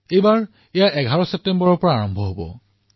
এইবাৰ এয়া ১১ ছেপ্টেম্বৰৰ পৰা আৰম্ভ হব